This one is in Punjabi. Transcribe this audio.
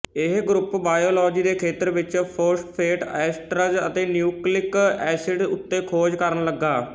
ਇਹ ਗਰੁੱਪ ਬਾਇਓਲੌਜੀ ਦੇ ਖੇਤਰ ਵਿੱਚ ਫੌਸਫੇਟ ਐਸਟਰਜ ਅਤੇ ਨਿਊਕਲਿੱਕ ਏਸਿਡਜ਼ ਉੱਤੇ ਖੋਜ ਕਰਨ ਲੱਗਾ